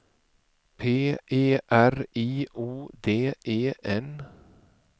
P E R I O D E N